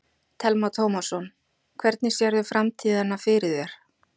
Telma Tómasson: Hvernig sérðu framtíðina fyrir þér?